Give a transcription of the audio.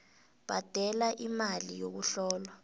bhadela imali yokuhlolwa